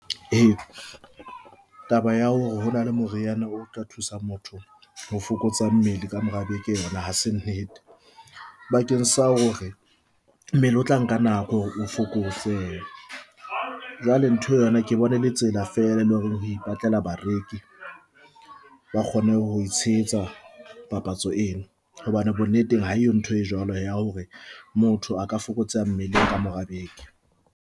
Eya, taba ya hore hona le moriana o tla thusa motho ho fokotsa mmele ka mora beke yona hase nnete bakeng sa hore mmele o tla nka nako hore o fokotsehe jwale ntho eo yona ke e bona e le tsela fela le hore ho ipatlela bareki ba kgone ho tshehetsa papatso eno, hobane bonneteng ha eyo ntho e jwalo ya hore motho a ka fokotseha mmeleng ka mora beke.